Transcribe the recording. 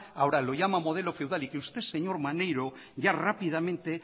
ahora lo llama modelo feudal y que usted señor maneiro ya rápidamente